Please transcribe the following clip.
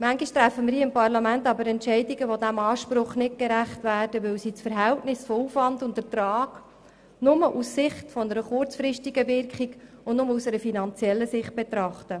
Manchmal treffen wir hier im Parlament aber Entscheidungen, die diesem Anspruch nicht gerecht werden, weil sie das Verhältnis von Aufwand und Ertrag nur aus Sicht einer kurzfristigen Wirkung und nur aus einer finanziellen Optik betrachten.